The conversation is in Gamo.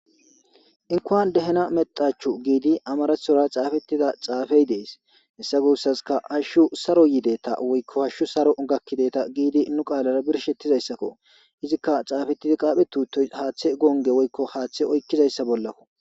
Inkuwan dehina mexachu giidi amaraththora xaafetida xaafey dees. Hessa guussazikka hashshu saron yideta woykko hashshu saro gakkideta giidi nu qaalara birshshetizayssako. Izikka xxaafetdi qaapheti uttoy haaththe gonge woykko haaththe oykkizayssa bollako